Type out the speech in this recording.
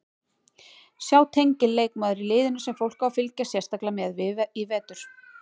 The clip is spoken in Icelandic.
Sjá tengil Leikmaður í liðinu sem fólk á að fylgjast sérstaklega með í vetur?